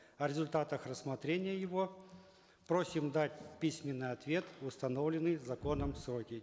о результатах рассмотрения его просим дать письменный ответ в установленные законом сроки